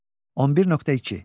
11.2.